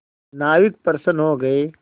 नाविक प्रसन्न हो गए